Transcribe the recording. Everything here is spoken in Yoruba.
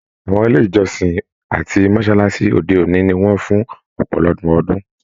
Àwọn ilé ìjọsìn àti mọsálásí òde òní ní wọn fún ọpọlọpọ ọdun.